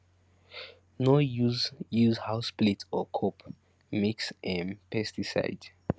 no use use house plate or cup mix um pesticide